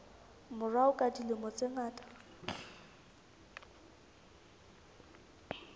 morao ka dilemo tse ngata